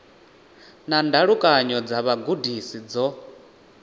na ndalukanyo dza vhugudisi dzo